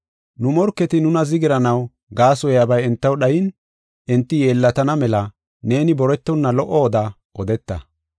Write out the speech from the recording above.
Nu morketi nuna zigiranaw gaasoyabay entaw dhayin enti yeellatana mela neeni boretonna lo77o oda odeeta.